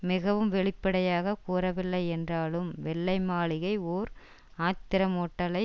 மிகவும் வெளிப்படையாக கூறவில்லை என்றாலும் வெள்ளை மாளிகை ஒர் ஆத்திரமூட்டலை